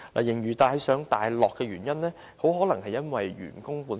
盈餘大上大落的原因很可能源自員工的成本。